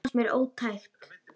Það fannst mér ótækt.